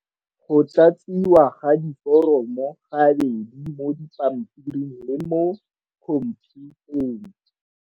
Go tlatsiwa ga diforomo ga bedi mo dipampiring le mo khomphutheng.